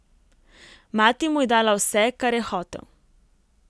Mati mu je dala vse, kar je hotel.